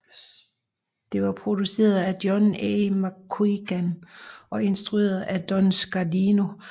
Det var produceret af John A McQuiggan og instrueret af Don Scardino